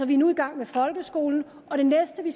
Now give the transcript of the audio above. vi er nu i gang med folkeskolen og det næste vi